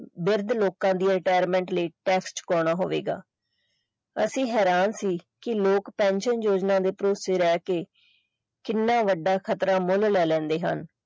ਵਿਰੁੱਧ ਲੋਕਾਂ ਦੀ retirement ਲਈ tax ਛੁਪਾਉਣਾ ਹੋਵੇਗਾ ਅਸੀਂ ਹੈਰਾਨ ਸੀ ਕਿ ਲੋਕ pension ਯੋਜਨਾ ਦੇ ਭਰੋਸੇ ਰਹਿ ਕੇ ਕਿੰਨਾ ਵੱਡਾ ਖਤਰਾ ਮੁੱਲ ਲੈ ਲੈਂਦੇ ਹਨ।